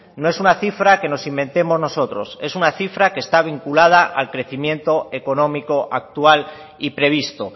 no es una cifra que nos inventemos nosotros es una cifra que está vinculada al crecimiento económico actual y previsto